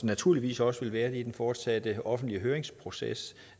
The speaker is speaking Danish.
naturligvis også vil være det i den fortsatte offentlige høringsproces